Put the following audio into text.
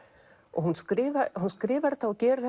og hún skrifar hún skrifar þetta og gerir